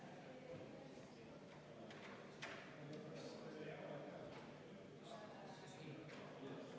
Head kolleegid, oleme 28. muudatusettepaneku juures.